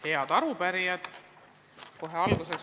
Head arupärijad!